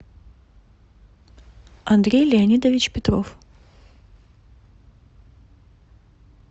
андрей леонидович петров